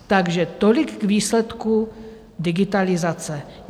Takže tolik k výsledku digitalizace.